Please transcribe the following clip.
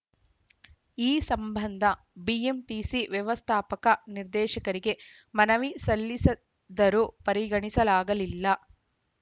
ಈ ಸಂಬಂಧ ಬಿಎಂಟಿಸಿ ವ್ಯವಸ್ಥಾಪಕ ನಿರ್ದೇಶಕರಿಗೆ ಮನವಿ ಸಲ್ಲಿಸದರೂ ಪರಿಗಣಿಸಲಾಗಿಲ್ಲ